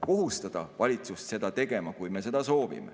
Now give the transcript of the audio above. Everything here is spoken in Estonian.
kohustada valitsust seda tegema, kui me seda soovime.